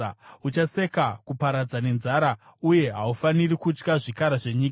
Uchaseka kuparadza nenzara, uye haufaniri kutya zvikara zvenyika.